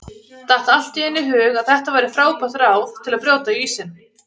Datt allt í einu í hug að þetta væri frábært ráð til að brjóta ísinn!